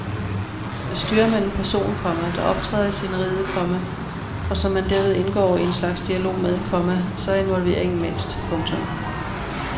Styrer man en person, komma der optræder i sceneriet, komma og som man derved indgår i en slags dialog med, komma så er involveringen mindst. punktum